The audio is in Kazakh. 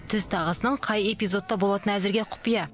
түз тағысының қай эпизодта болатыны әзірге құпия